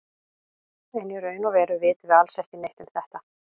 En í raun og veru vitum við alls ekki neitt um þetta.